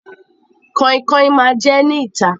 Kainkain ma jẹ ẹ́ ní ìta.